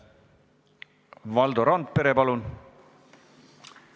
Valdo Randpere, palun!